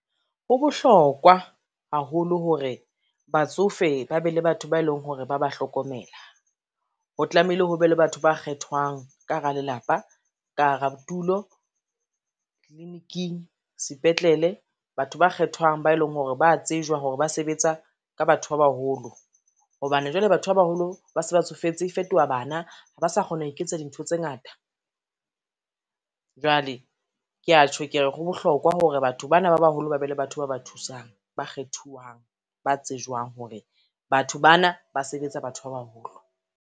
Ho bohlokwa haholo hore batsofe ba be le batho ba eleng hore ba ba hlokomela. Ho tlameile ho be le batho ba kgethwang ka hara lelapa, ka hara tulo, tliliniking, sepetlele batho ba kgethwang ba eleng hore ba tsejwa hore ba sebetsa ka batho ba baholo. Hobane jwale batho ba baholo ba se ba tsofetse, e fetoha bana ha ba sa kgona ho iketsa dintho tse ngata. Jwale ke a tjho ke re ho bohlokwa hore batho bana ba baholo, ba be le batho ba ba thusang, ba kgethuwang, ba tsejwang hore batho bana ba sebetsa batho ba baholo.